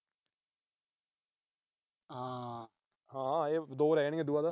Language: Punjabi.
ਹਾਂ ਇਹ ਦੋ ਰਹਿ ਜਾਣਗੀਆਂ ਉਦੋਂ ਬਾਅਦ।